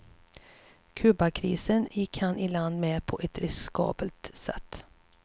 Kubakrisen gick han i land med, på ett riskabelt sätt.